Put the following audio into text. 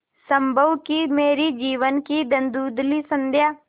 संभव है कि मेरे जीवन की धँुधली संध्या